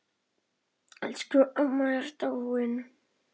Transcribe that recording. Elsku amma er dáinn.